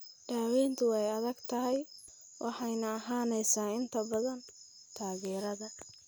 Daaweyntu waa adag tahay waxayna ahaanaysaa inta badan taageerada.